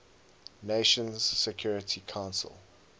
nations security council